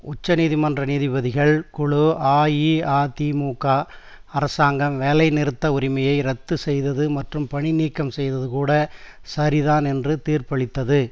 உச்சநீதிமன்ற நீதிபதிகள் குழு அஇஅதிமுக அரசாங்கம் வேலை நிறுத்த உரிமையை ரத்து செய்தது மற்றும் பணி நீக்கம் செய்தது கூட சரிதான் என்று தீர்ப்பளித்தது